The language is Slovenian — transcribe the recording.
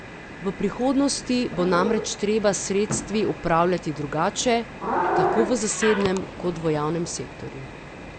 V prihodnosti bo namreč treba s sredstvi upravljati drugače, tako v zasebnem kot v javnem sektorju.